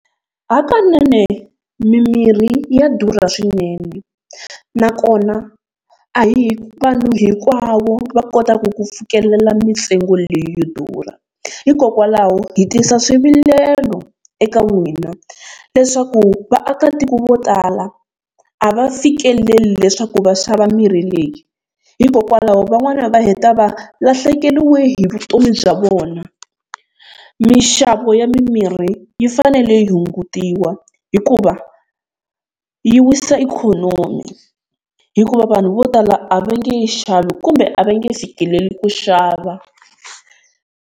Hakanene mimirhi ya durha swinene nakona a hi vanhu hinkwavo va kotaka ku fikelela mintsengo leyi yo durha, hikokwalaho hi tisa swivilelo eka n'wina leswaku vaakatiko vo tala a va fikeleli leswaku va xava mirhi leyi, hikokwalaho van'wani va heta va lahlekeriwe hi vutomi bya vona. Minxavo ya mimirhi yi fanele yi hungutiwa hikuva yi wisa ikhonomi hikuva vanhu vo tala a va nge yi xavi kumbe a va nge fikeleli ku xava.